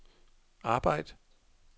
arbejd